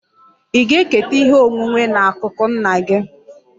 Ị ga-eketa ihe onwunwe n'akụkụ nna gị?